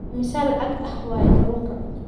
iimisa lacag ah waaye kalunka?